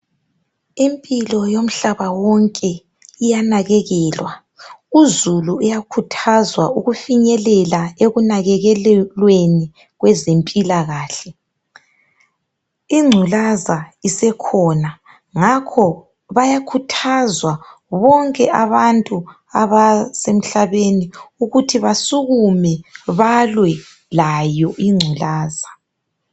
Impilo yomhlaba wonke iyanekekelwa uzulu uyakhuthazwa ukufinyelela ekunakekelweni kwezempilakahle. Ingculaza isikhona ngakho bayakhuthazwa bonke abantu abasemhlabeni ukuthi basukume balwe layo ingculaza